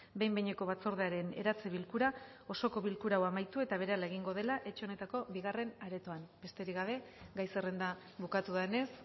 behin behineko batzordearen eratze bilkura osoko bilkura hau amaitu eta berehala egingo dela etxe honetako bigarren aretoan besterik gabe gai zerrenda bukatu denez